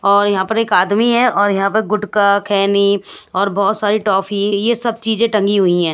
और यहां पर एक आदमी है और यहां पर गुटका खैनी और बहुत सारी टॉफी ये सब चीजें टंगी हुई हैं।